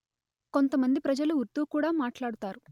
కొంతమంది ప్రజలు ఉర్దూ కూడా మాట్లాడుతారు